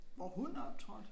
Hvor hun optrådte?